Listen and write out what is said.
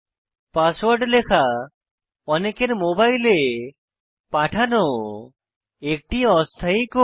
password লেখা অনেকের মোবাইলে পাঠানো একটি অস্থায়ী কোড